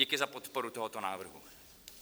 Díky za podporu tohoto návrhu.